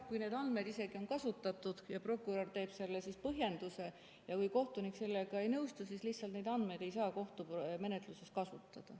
Kui neid andmeid isegi on kasutatud ja prokurör teeb selle põhjenduse ja kui kohtunik sellega ei nõustu, siis lihtsalt neid andmeid ei saa kohtumenetluses kasutada.